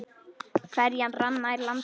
Ferjan rann nær landi.